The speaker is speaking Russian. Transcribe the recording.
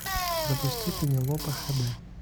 запусти пенелопа хд